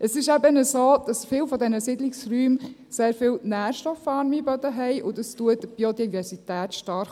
Es ist eben so, dass viele dieser Siedlungsräume sehr viele nährstoffarme Böden haben, und das unterstützt die Biodiversität stark.